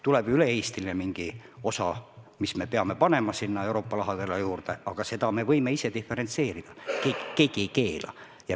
Tuleb mingi üle-eestiline osa, mis me peame panema sinna Euroopa rahadele juurde, aga seda me võime ise diferentseerida, keegi ei keela.